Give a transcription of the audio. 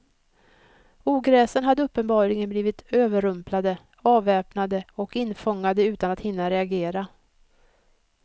Ogräsen hade uppenbarligen blivit överrumplade, avväpnade och infångade utan att hinna reagera.